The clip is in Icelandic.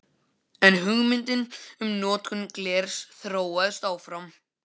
En hugmyndin um notkun glers þróast áfram.